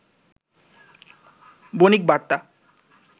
Bonik Barta